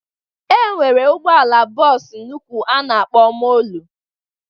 E nwere ụgbọala bọs nnụkwụ a na-akpọ molue.